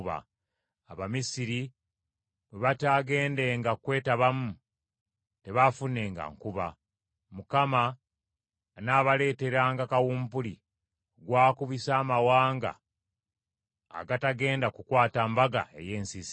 Abamisiri bwe bataagendenga kwetabamu, tebaafunenga nkuba. Mukama anaabareeteranga kawumpuli, gwakubisa amawanga agatagenda kukwata mbaga ey’ensiisira.